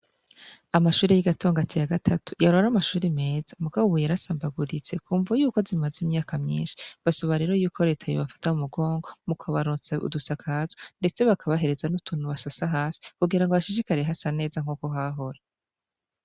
Amashuri y'i Gatongati ya gatatu yahora ari amashuri meza mugabo ubu yarasambaguritse kumvo yuko zimaze imyaka myinshi basaba rero yuko reta yobafata mu mugongo mu kubaronsa udusakazo, ndetse bakabahereza n'utuntu basasa hasi kugira ngo hashishikare hasa neza nk'uko hahora.